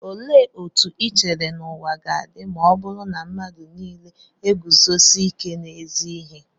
Olee otú i chere na ụwa ga-adị ma ọ bụrụ na mmadụ nile na-eguzosi ike n'ezi ihe?